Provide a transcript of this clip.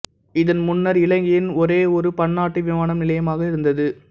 இது முன்னர் இலங்கையின் ஒரேயொரு பன்னாட்டு விமான நிலையமாக இருந்தது